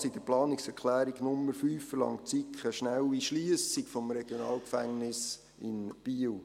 Mit der Planungserklärung 5 verlangt die SiK eine schnelle Schliessung des RG Biel.